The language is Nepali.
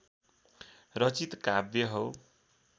रचित काव्य हो